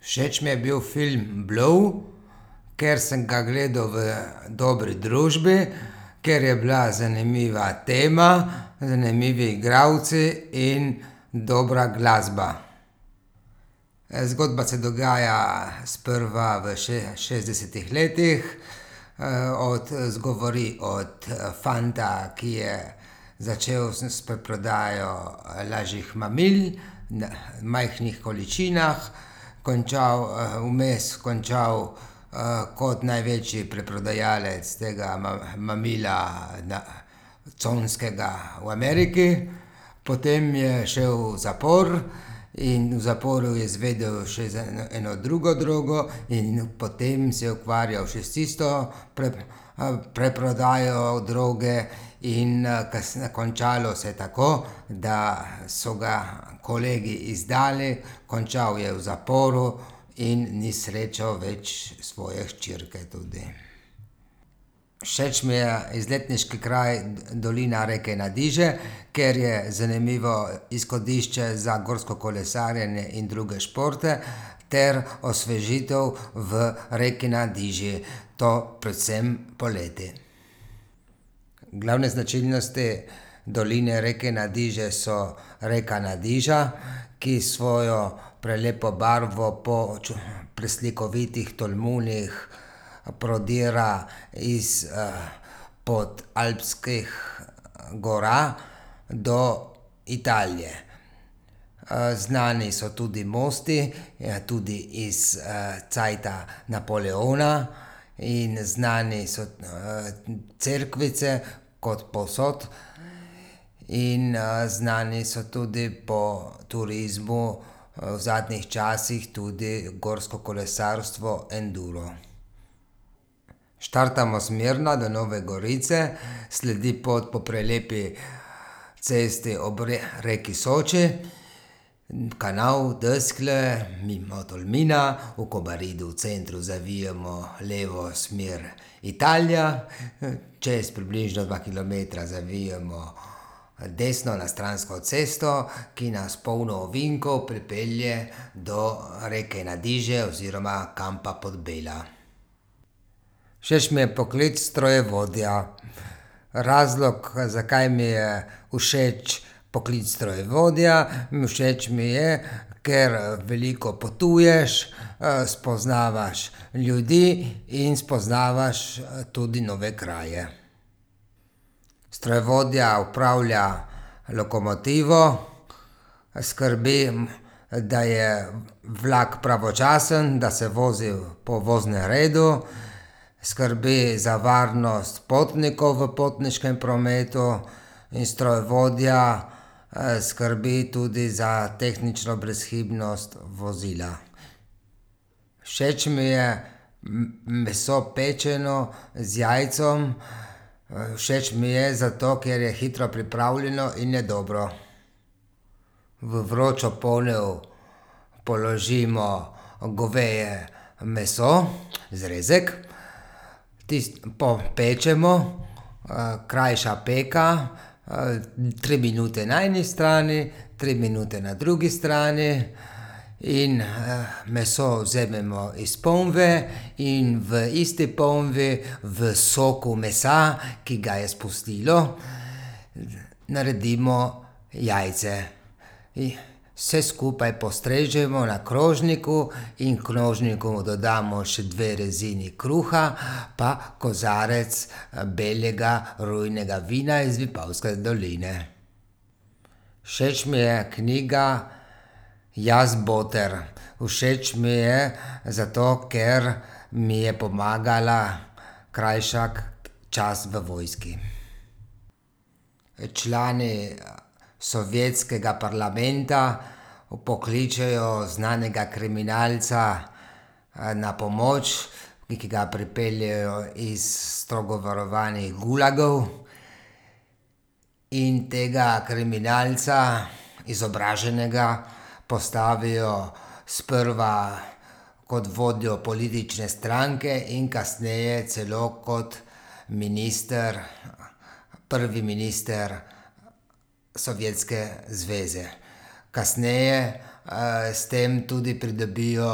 Všeč mi je bil film Blow, ker sem ga gledal v dobri družbi, ker je bila zanimiva tema, zanimivi igralci in dobra glasba. zgodba se dogaja sprva v šestdesetih letih, od govori od fanta, ki je začel s preprodajo, lažjih mamil na majhnih količinah. Končal, vmes končal, kot največji preprodajalec tega mamila na conskega v Ameriki. Potem je šel v zapor in v zaporu je zvedel še za eno drugo drogo in potem se je ukvarjal še s tisto preprodajo droge in, končalo se je tako, da so ga kolegi izdali, končal je v zaporu in ni srečal več svoje hčerke tudi. Všeč mi je izletniški kraj dolina reke Nadiže, ker je zanimivo izhodišče za gorsko kolesarjenje in druge športe ter osvežitev v reki Nadiži. To predvsem poleti. Glavne značilnosti doline reke Nadiže so reka Nadiža, ki s svojo prelepo barvo po preslikovitih tolmunih prodira iz, podalpskih, gora do Italije. znani so tudi mosti, tudi iz, cajta Napoleona in znane so cerkvice kot povsod. In, znani so tudi po turizmu, v zadnjih časih tudi gorsko kolesarstvo Enduro. Štartamo smerno do Nove Gorice, sledi pot po prelepi cesti ob reki Soči. Kanal Deskle mimo Tolmina, v Kobaridu v centru zavijemo levo, smer Italija. Čez približno dva kilometra zavijemo desno na stransko cesto, ki nas polno ovinkov pripelje do, reke Nadiže oziroma kampa Podbela. Všeč mi je poklic strojevodja, razlog, zakaj mi je všeč poklic strojevodja, všeč mi je, ker, veliko potuješ, spoznavaš ljudi in spoznavaš, tudi nove kraje. Strojevodja upravlja lokomotivo, skrbi, da je vlak pravočasno, da se vozi po voznem redu, skrbi za varnost potnikov v potniškem prometu in strojevodja, skrbi tudi za tehnično brezhibnost vozila. Všeč mi je, meso, pečeno z jajcem. všeč mi je zato, ker je hitro pripravljeno in je dobro. V vročo ponev položimo goveje meso, zrezek. Tisto popečemo, krajša peka, tri minute na eni strani, tri minute na drugi strani. In, meso vzamemo iz ponve in v isti ponvi, v soku mesa, ki ga je spustilo, naredimo jajce. vse skupaj postrežemo na krožniku in krožniku dodamo še dve rezini kruha pa kozarec, belega rujnega vina iz Vipavske doline. Všeč mi je knjiga Jaz, boter. Všeč mi je zato, ker mi je pomagala krajšati čas v vojski. člani, sovjetskega parlamenta vpokličejo znanega kriminalca, na pomoč, ki ga pripeljejo iz strogo varovanih gulagov. In tega kriminalca, izobraženega, postavijo sprva kot vodjo politične stranke in kasneje celo kot minister, prvi minister Sovjetske zveze. Kasneje, s tem tudi pridobijo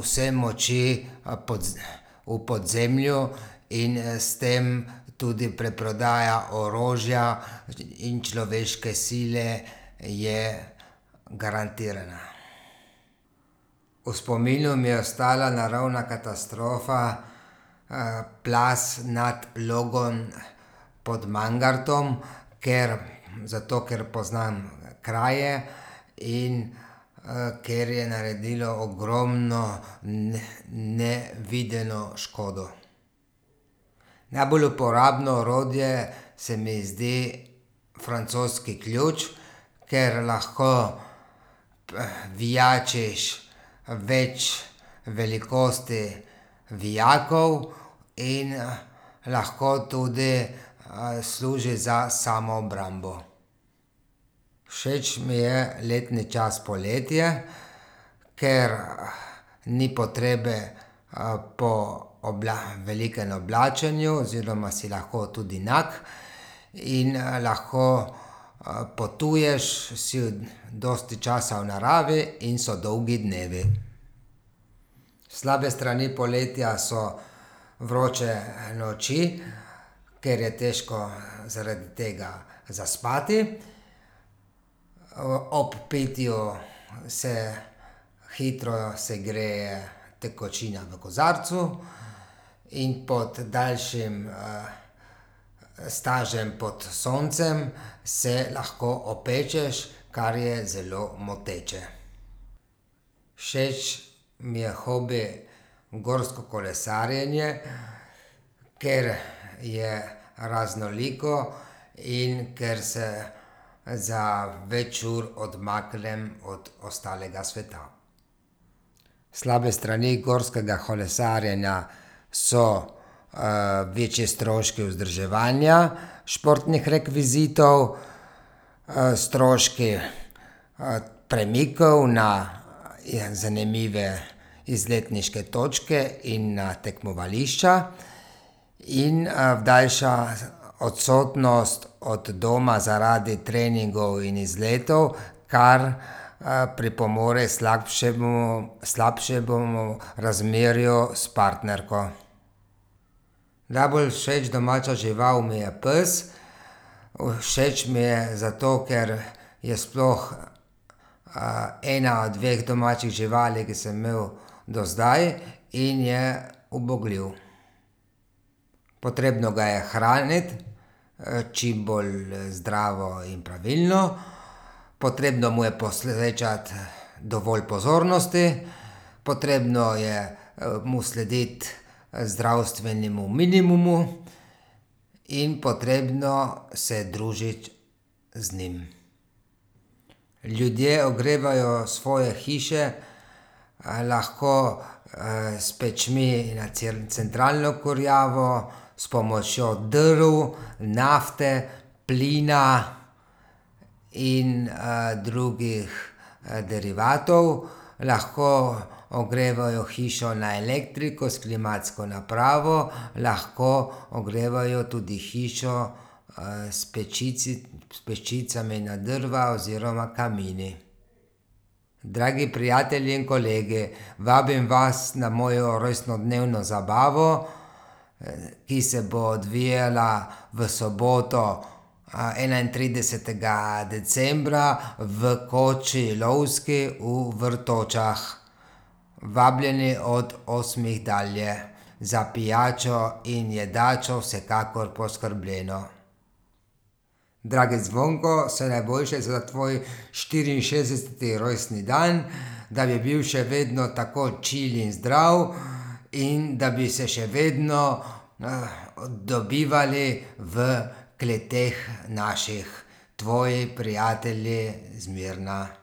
vse moči, v podzemlju in s tem tudi preprodaja orožja in človeške sile je garantirana. V spominu mi je ostala naravna katastrofa, plaz nad Logom pod Mangartom. Ker, zato ker poznam kraje in, ker je naredilo ogromno nevideno škodo. Najbolj uporabno orodje se mi zdi francoski ključ. Ker lahko vijačiš, več velikosti vijakov in lahko tudi, služi za samoobrambo. Všeč mi je letni čas poletje, ker, ni potrebe, po velikem oblačenju oziroma si lahko tudi nag. In, lahko, potuješ, si dosti časa v naravi in so dolgi dnevi. Slabe strani poletja so vroče noči, ker je težko, zaradi tega zaspati. ob pitju se hitro segreje tekočina v kozarcu in pod daljšim, stažem pod soncem se lahko opečeš, kar je zelo moteče. Všeč mi je hobi gorsko kolesarjenje, ker je raznoliko in ker se za več ur odmaknem od ostalega sveta. Slabe strani gorskega kolesarjenja so, večji stroški vzdrževanja športnih rekvizitov, stroški, premikov na zanimive izletniške točke in na tekmovališča. In, daljša odsotnost od doma zaradi treningov in izletov, kar, pripomore k slabšemu, slabšemu razmerju s partnerko. Najbolj všeč domača žival mi je pes. Všeč mi je zato, ker je sploh, ena od dveh domačih živali, ki sem imel do zdaj, in je ubogljiv. Potrebno ga je hraniti, čim bolj, zdravo in pravilno. Potrebno mu je posvečati dovolj pozornosti, potrebno je, mu slediti, zdravstvenemu minimumu. In potrebno se je družiti z njim. Ljudje ogrevajo svoje hiše, lahko, s pečmi na centralno kurjavo, s pomočjo drv, nafte, plina. In, drugih, derivatov. Lahko ogrevajo hišo na elektriko s klimatsko napravo, lahko ogrevajo tudi hišo, s s pečicami na drva oziroma kamini. Dragi prijatelji in kolegi, vabim vas na mojo rojstnodnevno zabavo, ki se bo odvijala v soboto, enaintridesetega decembra v koči lovski v Vrtočah. Vabljeni od osmih dalje. Za pijačo in jedačo vsekakor poskrbljeno. Dragi Zvonko, vse najboljše za tvoj štiriinšestdeseti rojstni dan, da bi bil še vedno tako čil in zdrav in da bi se še vedno, dobivali v kleteh naših. Tvoji prijatelji z Mirna.